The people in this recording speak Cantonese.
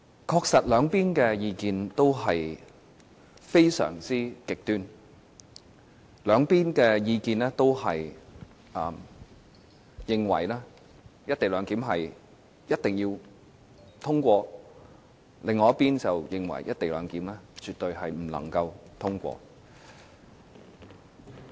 確實，兩方的意見也非常極端：這一邊的意見認為"一地兩檢"一定要通過，另一邊的意見則認為"一地兩檢"絕對不能通過。